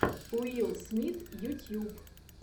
уилл смит ютьюб